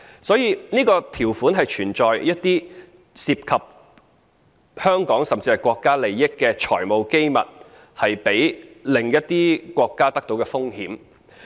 所以，這項條款是存在一些涉及香港，甚至國家利益的財務機密被另一些國家取得的風險。